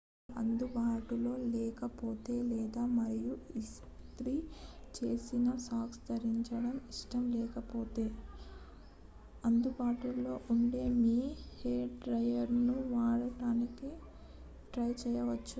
ఇనుము అందుబాటులో లేకపోతే లేదా మీరు ఇస్త్రీ చేసిన సాక్స్ ధరించడం ఇష్టం లేకపోతే అందుబాటులో ఉండే మీ హెయిర్ డ్రయ్యర్ను వాడటానికి ట్రై చేయవచ్చు